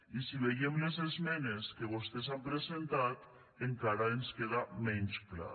i si veiem les emenes que vostès han presentat encara ens queda menys clar